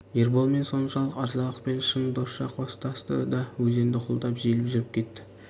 ерболмен соншалық ырзалықпен шын досша қоштасты да өзенді құлдап желіп жүріп кетті